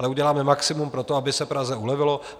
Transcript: Ale uděláme maximum pro to, aby se Praze ulevilo.